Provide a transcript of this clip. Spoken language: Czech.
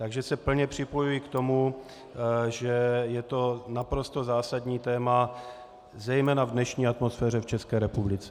Takže se plně připojuji k tomu, že je to naprosto zásadní téma zejména v dnešní atmosféře v České republice.